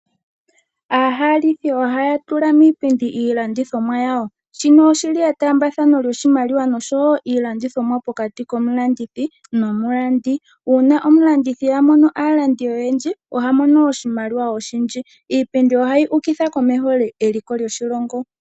Aahalithi oha ya tula miipindi iilandithomwa yawo. Shino oshi li etaambathano lyoshimaliwa nosho woo iilandithomwa pokati komulandithi nomulandi. Uuna omulandithi a mono aalandi oyendji oha mono oshimaliwa oshindji. Iipindi oha yi ukitha komeho eliko lyoshilongo.